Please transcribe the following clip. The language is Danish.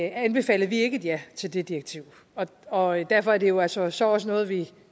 anbefalede vi ikke et ja til det direktiv og derfor er det jo altså så også noget vi